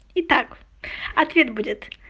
и так ответ будет